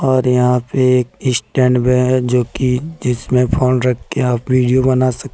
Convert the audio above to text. और यहां पर एक स्टैंड भी है जो कि जिसमें फोन रख ने आप वीडियो बना सक--